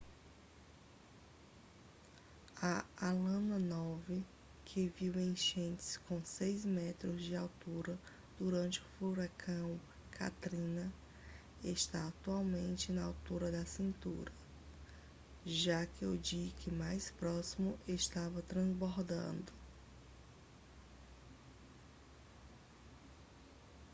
a ala nove que viu enchentes com 6 metros de altura durante o furacão katrina está atualmente na altura da cintura já que o dique mais próximo estava transbordado